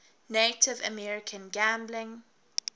native american gambling